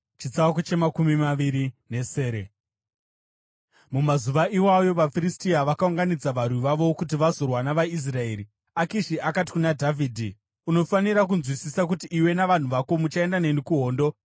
Mumazuva iwayo vaFiristia vakaunganidza varwi vavo kuti vazorwa navaIsraeri. Akishi akati kuna Dhavhidhi, “Unofanira kunzwisisa kuti iwe navanhu vako muchaenda neni kuhondo.”